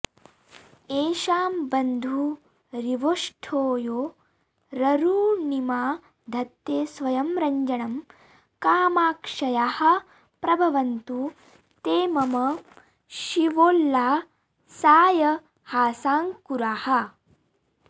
येषां बन्धुरिवोष्ठयोररुणिमा धत्ते स्वयं रञ्जनं कामाक्ष्याः प्रभवन्तु ते मम शिवोल्लासाय हासाङ्कुराः